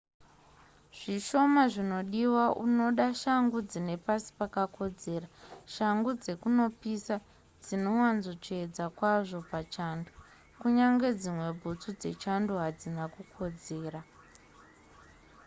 zvishoma zvinodiwa unoda shangu dzine pasi pakakodzera shangu dzekunopisa dzinowanzotsvedza kwazvo pachando kunyangwe dzimwe bhutsu dzechando hadzina kukodzera